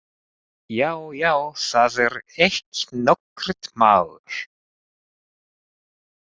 Já, já, það er ekki nokkurt mál.